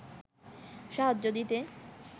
সাহায্য দিতে